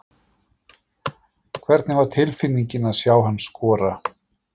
Hvernig var tilfinningin að sjá hann skora?